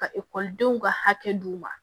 Ka ekɔlidenw ka hakɛ d'u ma